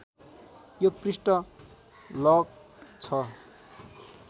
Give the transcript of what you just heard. यो पृष्ठ लक्ड् छ